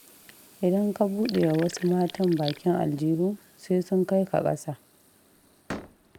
Idan ka buɗewa wasu matan bakin aljihu, sai sun kai ka ƙasa